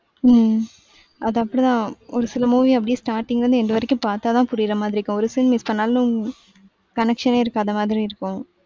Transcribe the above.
உம் அது அப்டித்தான் ஒருசில movie அப்டியே starting ல இருந்து end வரைக்கும் பாத்தா தான் புரியிறமாதிரி இருக்கும் ஒரு scene மிஸ் பண்ணாலும் connection ணே இருக்காதமாதிரி இருக்கும்.